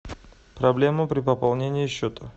проблема при пополнении счета